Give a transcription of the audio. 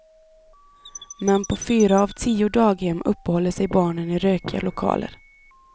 Men på fyra av tio daghem uppehåller sig barnen i rökiga lokaler.